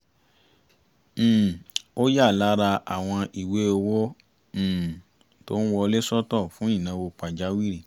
um ó ya lára àwọn ìwé owó um tó wọlé sọ́tọ̀ fún ìnáwó pàjáwìrì